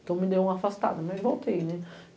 Então, me deu uma afastada, mas voltei, né?